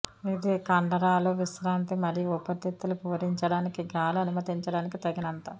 ఇది కండరాలు విశ్రాంతి మరియు ఊపిరితిత్తులు పూరించడానికి గాలి అనుమతించడానికి తగినంత